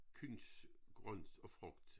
Kuhns grønt og frugt